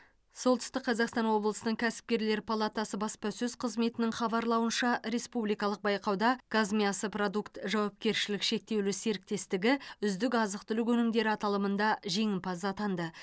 солтүстік қазақстан облысының кәсіпкерлер палатасы баспасөз қызметінің хабарлауынша республикалық байқауда казмясопродукт жауапкершілігі шектеулі серіктестігі үздік азық түлік өнімдері аталымында жеңімпаз атанды